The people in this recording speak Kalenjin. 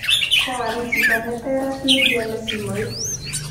koal chito neter ak negiale simoit